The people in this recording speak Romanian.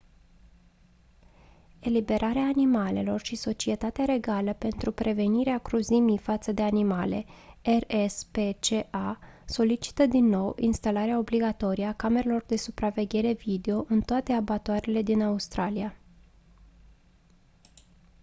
eliberarea animalelor și societatea regală pentru prevenirea cruzimii față de animale rspca solicită din nou instalarea obligatorie a camerelor de supraveghere video în toate abatoarele din australia